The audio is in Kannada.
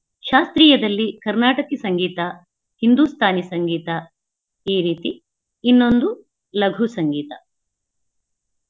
ಶಾಸ್ತ್ರಿಯದಲ್ಲಿ ಕರ್ನಾಟಕಿ ಸಂಗೀತ, ಹಿಂದುಸ್ಥಾನಿ ಸಂಗೀತ ಈ ರೀತಿ ಇನ್ನೊಂದು ಲಘು ಸಂಗೀತ.